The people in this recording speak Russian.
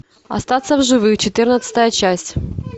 остаться в живых четырнадцатая часть